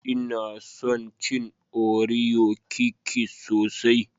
Nna son cin Oreo Kikis sosai.